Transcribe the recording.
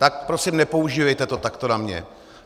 Tak prosím nepoužívejte to takto na mě.